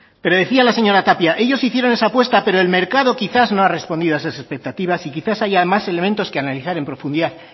pero decía la señora tapia ellos hicieron esa apuesta pero el mercado quizás no ha respondido a esas expectativas y quizás haya más elementos que analizar en profundidad